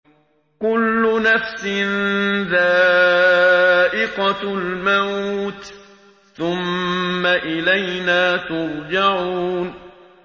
كُلُّ نَفْسٍ ذَائِقَةُ الْمَوْتِ ۖ ثُمَّ إِلَيْنَا تُرْجَعُونَ